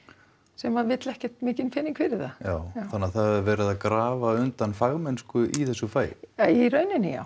sem vill ekkert mikinn pening fyrir það þannig það er verið að grafa undan fagmennsku í þessu fagi í rauninni já